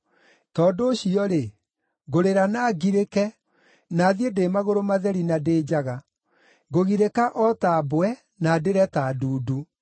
Tondũ ũcio-rĩ, ngũrĩra na ngirĩke, na thiĩ ndĩ magũrũ matheri na ndĩ njaga. Ngũgirĩka o ta mbwe, na ndĩre ta ndundu.